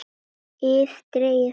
ið dregið frá.